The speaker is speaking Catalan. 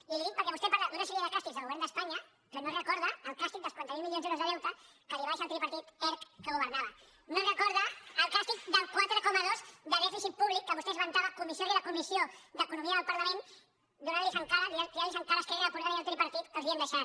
i li ho dic perquè vostè parla d’una sèrie de càstigs del govern d’espanya però no recorda el càstig dels quaranta miler milions d’euros de deute que li va deixar el tri·partit erc que governava no recorda el càstig del quatre coma dos de dèficit públic que vostè esventava comissió rere comissió d’economia del parlament tirant·los en ca·ra a esquerra republicana i al tripartit que els l’havien deixat